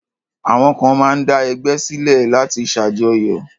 Àwọn kan máa ń dá ẹgbẹ́ sílẹ̀ láti ṣàjọyọ̀.